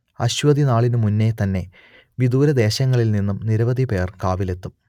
അശ്വതിനാളിനു മുന്നേ തന്നെ വിദൂരദേശങ്ങളിൽ നിന്നും നിരവധി പേർ കാവിലെത്തും